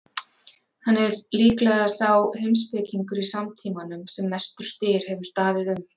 Hann er líklega sá heimspekingur í samtímanum sem mestur styr hefur staðið um.